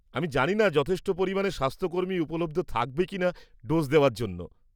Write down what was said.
আমি জানি না যথেষ্ট পরিমাণে স্বাস্থ্যকর্মী উপলব্ধ থাকবে কিনা ডোজ দেওয়ার জন্য।